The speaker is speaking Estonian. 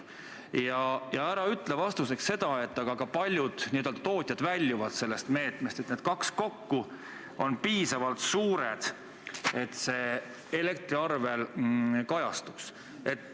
Ja ära ütle vastuseks seda, et ka paljud n-ö tootjad väljuvad sellest meetmest, et need kaks kokku on piisavalt suured, et see elektriarvel kajastuks.